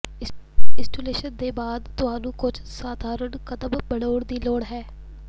installation ਦੇ ਬਾਅਦ ਤੁਹਾਨੂੰ ਕੁਝ ਸਧਾਰਨ ਕਦਮ ਬਣਾਉਣ ਦੀ ਲੋੜ ਹੈ